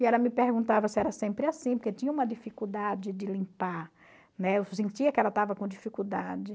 E ela me perguntava se era sempre assim, porque tinha uma dificuldade de limpar, né, eu sentia que ela estava com dificuldade.